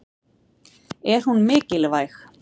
Er hún mikilvæg?